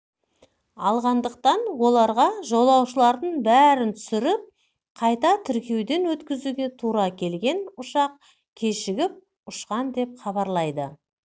алғандықтан оларға жолаушылардың бәрін түсіріп қайта тіркеуден өткізуге тура келген ұшақ кешігіп ұшқан деп хабарлады